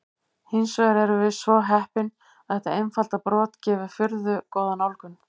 Hins vegar erum við svo heppin að þetta einfalda brot gefur furðu góða nálgun.